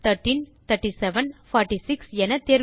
நான் 13 37 46